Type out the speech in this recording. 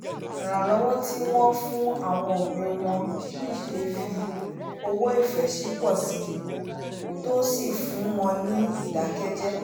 ìrànlọ́wọ́ tí wọ́n fún àwọn òbí wọn ṣíṣe fí owó ifẹ́sìn pọ̀ síi tó sì fún wọn ní ìdákẹ́jẹ